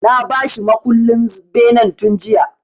Na ba shi mukullen benen tun jiya.